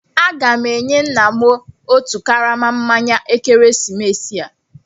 Aga m enye nna m otu karama mmanya ekeresimesi a.